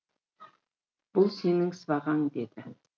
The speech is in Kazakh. бұл сенің сыбағаң деді